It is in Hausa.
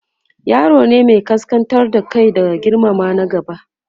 yaro ne Mai kaskantar da Kai da girmama na gaba